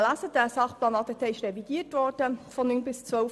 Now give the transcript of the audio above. Der Sachplan ADT wurde zwischen 2009 und 2012 revidiert.